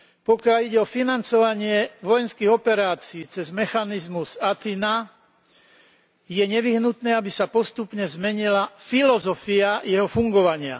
Pokiaľ ide o financovanie vojenských operácií cez mechanizmus Athena, je nevyhnutné, aby sa postupne zmenila filozofia jeho fungovania.